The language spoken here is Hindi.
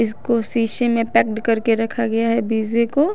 इसको सीसे में पैक्ड करके रखा गया है बीजे को।